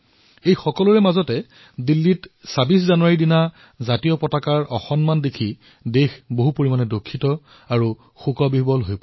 ইয়াৰ মাজতে দিল্লীত ২৬ জানুৱাৰীত ত্ৰিৰংগাৰ অপমান দেখি দেশবাসীয়ে দুখো পালে